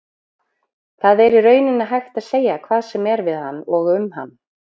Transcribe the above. Það er í rauninni hægt að segja hvað sem er við hann og um hann.